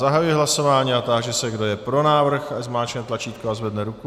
Zahajuji hlasování a táži se, kdo je pro návrh, ať zmáčkne tlačítko a zvedne ruku.